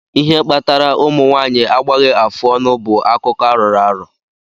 Ihe kpatara ụmụ nwanyị agbaghi afụọnụ bú akụkọ arọrọ arọ.